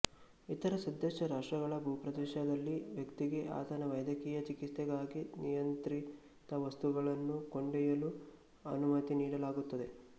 ಇತರ ಸದಸ್ಯ ರಾಷ್ಟ್ರಗಳ ಭೂಪ್ರದೇಶದಲ್ಲಿ ವ್ಯಕ್ತಿಗೆ ಆತನ ವೈದ್ಯಕೀಯ ಚಿಕಿತ್ಸೆಗಾಗಿ ನಿಯಂತ್ರಿತ ವಸ್ತುಗಳನ್ನು ಕೊಂಡೊಯ್ಯಲು ಅನುಮತಿ ನೀಡಲಾಗುತ್ತದೆ